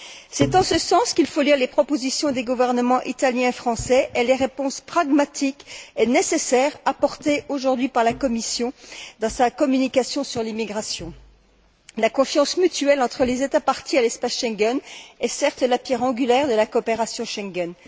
C'est en ce sens qu'il faut lire les propositions des gouvernements italien et français, et les réponses pragmatiques et nécessaires apportées aujourd'hui par la Commission dans sa communication sur l'immigration. La confiance mutuelle entre les États parties à l'espace Schengen est certes la pierre angulaire de la coopération Schengen.